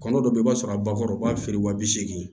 Kɔnɔ dɔ bɛ yen i b'a sɔrɔ a bakɔrɔba feere wa bi segin